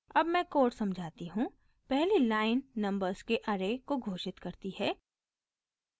अब मैं कोड समझाती हूँ पहली लाइन नंबर्स के ऐरे को घोषित करती है